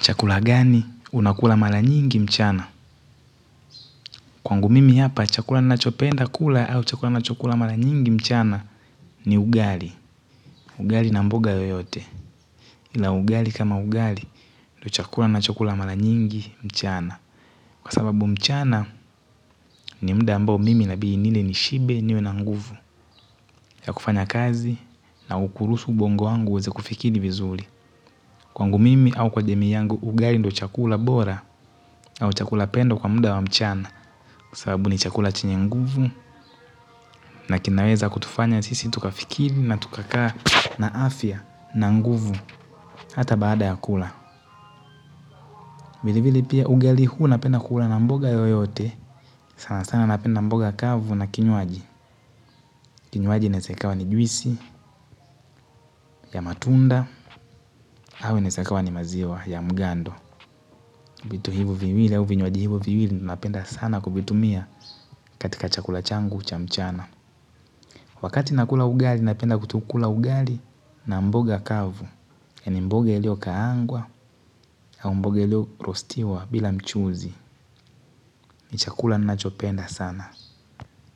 Chakula gani unakula mara nyingi mchana. Kwangu mimi hapa, chakula ninachopenda kula au chakula ninachokula mara nyingi mchana ni ugali. Ugali na mboga yoyote. Na ugali kama ugali ndiyo chakula ninachokula mara nyingi mchana. Kwa sababu mchana ni muda ambao mimi inabidi nile nishibe niwe na nguvu. Ya kufanya kazi na kuruhusu ubongo wangu uweze kufikiri vizuri. Kwangu mimi au kwa jamii yangu, ugali ndiyo chakula bora au chakula pendwa kwa muda wa mchana. Kwa sababu ni chakula chenye nguvu na kinaweza kutufanya sisi tukafikiri na tukakaa na afya na nguvu hata baada ya kula. Vilevile pia ugali huu napenda kula na mboga yoyote. Sana sana napenda mboga kavu na kinywaji. Kinywaji inaweza ikawa ni juisi ya matunda au inaweza ikawa ni maziwa ya mgando. Vitu hivyo viwili au vinywaji hivyo viwili napenda sana kuvitumia katika chakula changu cha mchana. Wakati nakula ugali napenda kukula ugali na mboga kavu yaani mboga iliyokaangwa au mboga iliyoroastiwa bila mchuzi ni chakula ninachopenda sana